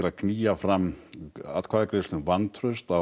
að knýja fram vantraust á